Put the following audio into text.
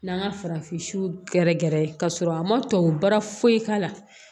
N'an ka farafin siw gɛrɛ gɛrɛ ka sɔrɔ a ma tubabu baara foyi k'a la